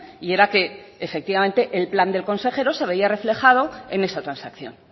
y era que efectivamente el plan del consejero se veía reflejado en esa transacción